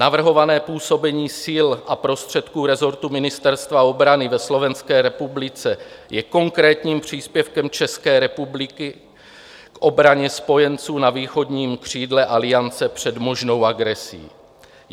Navrhované působení sil a prostředků rezortu Ministerstva obrany ve Slovenské republice je konkrétním příspěvkem České republiky k obraně spojenců na východním křídle Aliance před možnou agresí.